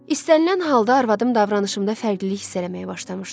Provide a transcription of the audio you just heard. İstənilən halda arvadım davranışımda fərqlilik hiss eləməyə başlamışdı.